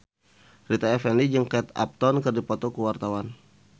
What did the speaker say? Rita Effendy jeung Kate Upton keur dipoto ku wartawan